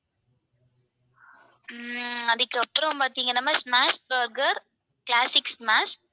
உம் அதுக்கப்பறம் பாத்தீங்கன்னா ma'am smash burger classic smash